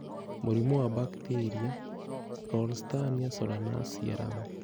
Mũrimũ wa Bacteria (Ralstonia solanacearum)